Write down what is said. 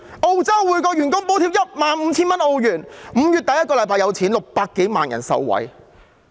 澳洲每名員工獲補貼 15,000 澳元 ，5 月第一個星期發放 ，600 多萬人受惠。